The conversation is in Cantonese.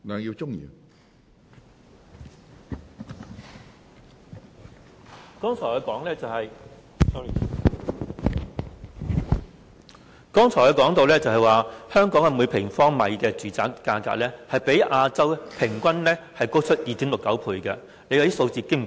我剛才說到，香港每平方米住宅價格，較亞洲平均高出 2.69 倍，數字相當驚人。